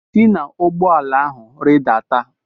si na ụgbọ ala ahụ rịdata!